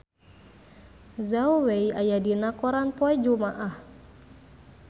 Zhao Wei aya dina koran poe Jumaah